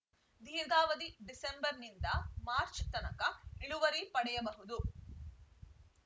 ದೀರ್ಘಾವಧಿ ಡಿಸೆಂಬರ್‌ನಿಂದ ಮಾರ್ಚ್ ತನಕ ಇಳುವರಿ ಪಡೆಯಬಹುದು